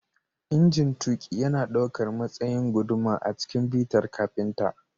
Injin tuƙi yana ɗaukar matsayin guduma a cikin bitar kafinta